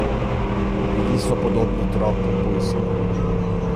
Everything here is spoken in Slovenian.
Bili so podobni tropu pujskov.